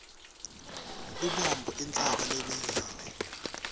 lubombo intsaba lebekile